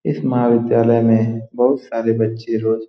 इस महाविद्यालय में बहुत सारे बच्चे रोज --